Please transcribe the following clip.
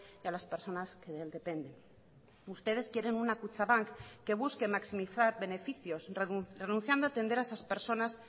y a las personas que depende ustedes quieren una kutxabank que busque maximizar beneficios renunciando a atender a esas personas